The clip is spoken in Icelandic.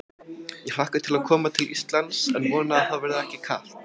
Ég hlakka til að koma til Íslands en vona að það verði ekki kalt.